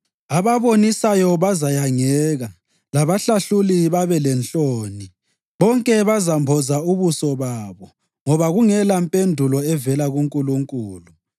Ababonisayo bazayangeka labahlahluli babe lenhloni. Bonke bazamboza ubuso babo ngoba kungelampendulo evela kuNkulunkulu.”